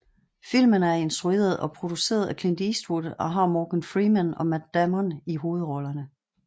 Filmen er instrueret og produceret af Clint Eastwood og har Morgan Freeman og Matt Damon i hovedrollerne